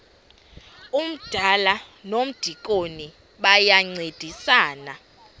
umdala nomdikoni bayancedisana